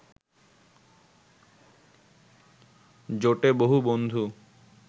জোটে বহু বন্ধু